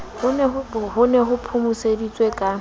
ho ne ho phomoseditswe ka